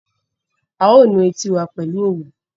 A ó nu etí wa pẹ̀lú òwú